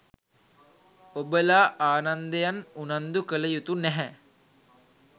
ඔබලා ආනන්දයන් උනන්දු කළයුතු නැහැ.